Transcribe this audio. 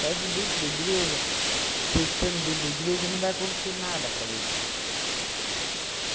Parece que dentro da igreja, você estando dentro da igreja, não vai acontecer nada para você.